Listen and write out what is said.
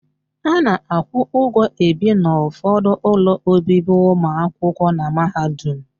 A na-akwụ ụgwọ ebi n'ụfọdụ ụlọ obibi ụmụakwụkwọ na mahadum.